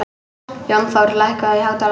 Jónþór, lækkaðu í hátalaranum.